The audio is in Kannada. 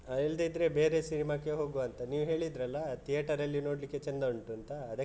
ಹ ಇಲ್ದಿದ್ರೆ ಬೇರೆ ಸಿನೆಮಾಕ್ಕೆ ಹೋಗುವ ಅಂತ ನೀವು ಹೇಳಿದ್ರಲ್ಲ, theater ಅಲ್ಲಿ ನೋಡ್ಲಿಕ್ಕೆ ಚಂದ ಉಂಟು ಅಂತ ಅದಕ್ಕೆ .